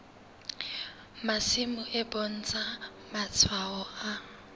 masimo e bontsha matshwao a